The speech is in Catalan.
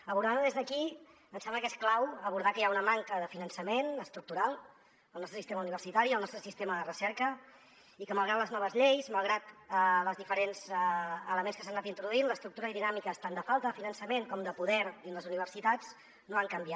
abordant ho des d’aquí ens sembla que és clau abordar que hi ha una manca de finançament estructural al nostre sistema universitari al nostre sistema de recerca i que malgrat les noves lleis malgrat els diferents elements que s’han anat introduint l’estructura i dinàmiques tant de falta de finançament com de poder dins les universitats no han canviat